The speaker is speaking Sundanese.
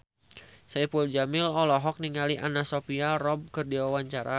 Saipul Jamil olohok ningali Anna Sophia Robb keur diwawancara